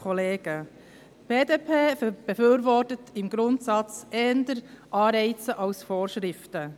Die BDP befürwortet im Grundsatz eher Anreize als Vorschriften.